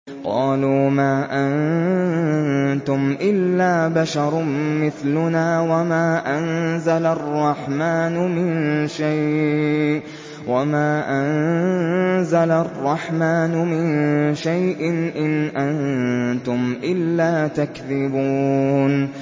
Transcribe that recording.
قَالُوا مَا أَنتُمْ إِلَّا بَشَرٌ مِّثْلُنَا وَمَا أَنزَلَ الرَّحْمَٰنُ مِن شَيْءٍ إِنْ أَنتُمْ إِلَّا تَكْذِبُونَ